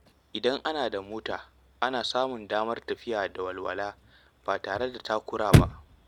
Idan ana da mota, ana samun damar tafiya da walwala ba tare da takura ba.